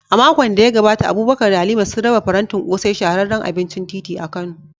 A makon da ya gabata, Abubakar da Halima sun raba farantin ƙosai, shahararren abincin titi a Kano.